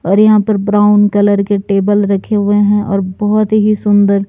और यहां पर ब्राउन कलर के टेबल रखे हुए हैं और बहुत ही सुंदर--